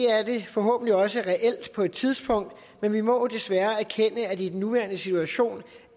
da forhåbentlig også reelt på et tidspunkt men vi må jo desværre erkende at vi i den nuværende situation